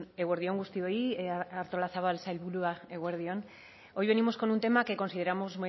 eguerdi on guztioi artolazabal sailburua eguerdi on hoy venimos con un tema que consideramos